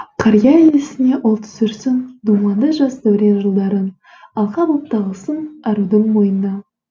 қария есіне ол түсірсін думанды жас дәурен жылдарын алқа боп тағылсын арудың мойнына